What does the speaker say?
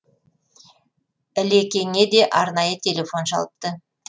ілекеңе де арнайы телефон шалыпты